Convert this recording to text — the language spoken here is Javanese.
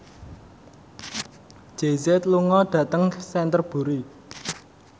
Jay Z lunga dhateng Canterbury